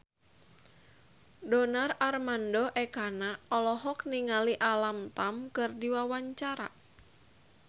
Donar Armando Ekana olohok ningali Alam Tam keur diwawancara